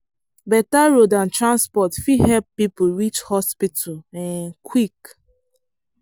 better road and transport fit help people reach hospital um quick.